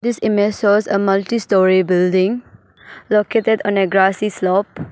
This image shows a multI story building located on a grassy slope.